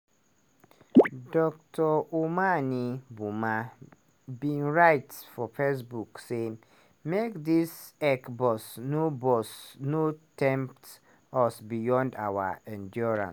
dr omane boamah bin write for facebook say "make dis ec boss no boss no tempt us beyond our endurance.